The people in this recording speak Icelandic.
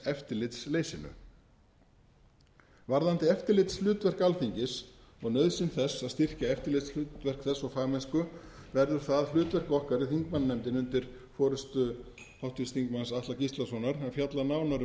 eftirlitsleysinu varðandi eftirlitshlutverk alþingis og nauðsyn þess að styrkja eftirlitshlutverk þess og fagmennsku verður það hlutverk okkar í þingmannanefndinni undir forustu háttvirts þingmanns atla gíslasonar að fjalla nánar um það ég